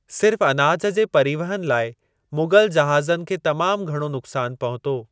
सिर्फ अनाज जे परिवहन लाइ मुग़ल जहाज़नि खे तमाम घणो नुक़्सान पहुतो।